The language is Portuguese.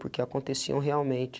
Porque aconteciam realmente.